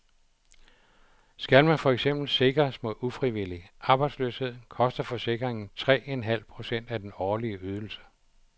Skal man for eksempel sikres mod ufrivillig arbejdsløshed, koster forsikringen tre en halv procent af den årlige ydelse.